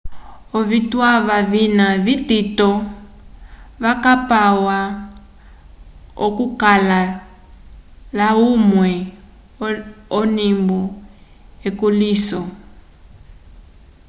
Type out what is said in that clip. ovituwa vina vitito vakapwa akukala laymwe onimbo ekulĩhiso